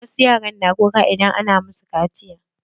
Wasu yaran na kuka idan ana masu kaciya.